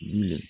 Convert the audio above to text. Wili